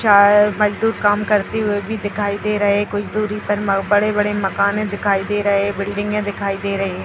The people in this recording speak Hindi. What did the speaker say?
मजदूर काम करते हुए भी दिखाई दे रहे कुछ दूरी पर बड़े-बड़े मकाने दिखाई दे रहे बिल्डिंगे दिखाई दे रही।